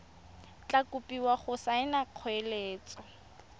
tla kopiwa go saena kgoeletso